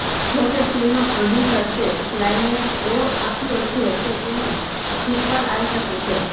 જોકે ફિલ્મ પ્રોડ્યસર્સે ક્લાઇમેક્સ એવો આપ્યો છે કે તેની સિક્વલ આવી શકે છે